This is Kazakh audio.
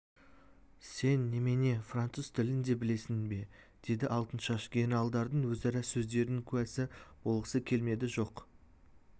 сен немене француз тілін де білесің бе деді алтыншаш генералдардың өзара сөздерінің куәсі болғысы келмеді жоқ